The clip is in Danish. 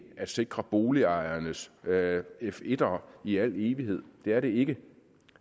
at sikre boligejernes f1ere i al evighed det er det ikke